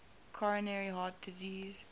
coronary heart disease